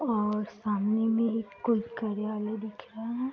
और सामने में एक कोई कार्यालय दिख रहा है।